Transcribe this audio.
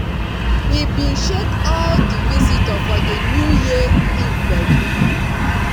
he bin shake all di visitor for di new year eve gbedu